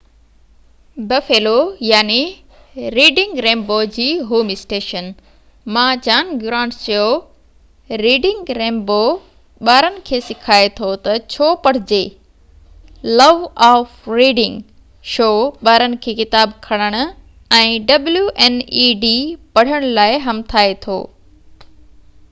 wned Buffalo Reading Rainbow جي home station مان John Grant چيو ريڊنگ رينبو ٻارن کي سکائي ٿو تہ ڇو پڙهجي،... لو آف ريڊنگ — شو ٻارن کي ڪتاب کڻڻ ۽ پڙهڻ لاءِ همٿائي ٿو.